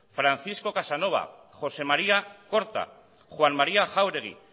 francisco casanova josé maria corta juan maría jáuregui